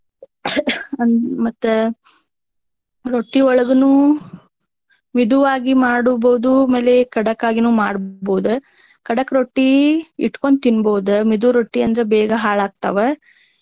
ಅಂ ಮತ್ತೆ ರೊಟ್ಟಿಯೊಳಗನು ಮಿದುವಾಗಿ ಮಾಡುಬಹುದು ಆಮೇಲೆ ಖಡಕ್ ಆಗೀನು ಮಾಡ್ಬಹುದು. ಖಡಕ್ ರೊಟ್ಟಿ ಇಟ್ಕೊಂಡ ತಿನ್ನಬಹುದು ಮಿದು ರೊಟ್ಟಿ ಅಂದ್ರ ಬೇಗಾ ಹಾಳ ಆಗ್ತಾವ.